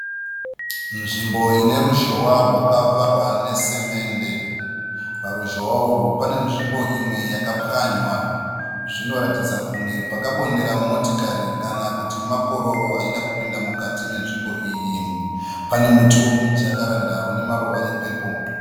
Nzvimbo ineruzhowa rwakavakwa nesemende. Paruzhowa urwu panenzvimbo imwe yakapwanywa. Zvinoratidza kunge pakabondera motokari kana kuti makororo aida kupinda mukati menzvimbo iyi. Pane muti wemujakaranda une maruva epepuro.